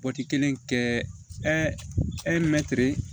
kelen kɛ